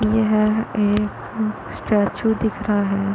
यहाँ एक स्टेचू दिख रहा है।